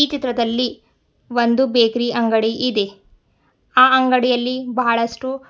ಈ ಚಿತ್ರದಲ್ಲಿ ಒಂದು ಬೇಕ್ರಿ ಅಂಗಡಿ ಇದೆ ಆ ಅಂಗಡಿಯಲ್ಲಿ ಬಹಳಷ್ಟು--